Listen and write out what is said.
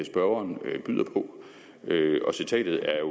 spørgeren byder på og citatet er